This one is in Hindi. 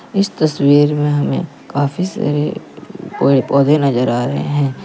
इस तस्वीर में हमे काफी सारे पौ पौधे नजर आ रहे है।